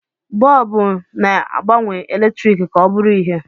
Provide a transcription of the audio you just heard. Bọọbụ na-agbanwe eletrik ka ọ bụrụ ìhè.